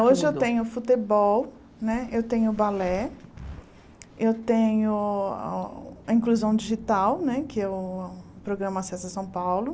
Hoje eu tenho futebol né, eu tenho balé, eu tenho inclusão digital né, que é o programa Acessa São Paulo.